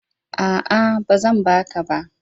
A'a, ba zan ba ka ba.